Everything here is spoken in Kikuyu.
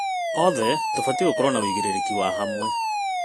Othe tũbatiĩ gũkorwo na ũigĩrĩrĩki wa hamwe.